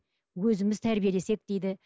өзіміз тәрбиелесек дейді